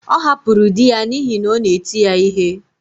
Ọ hapụrụ di ya n’ihi na ọ na-eti ya ihe